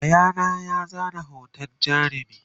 Yayana ya zana hoton jarumin